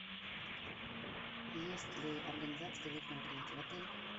есть ли организация деловых мероприятий в отеле